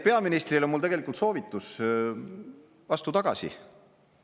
Peaministrile on mul tegelikult soovitus: astu tagasi!